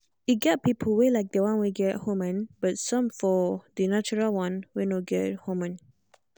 e get people wey like the one wey get hormone but some go for the natural one wey no get hormone.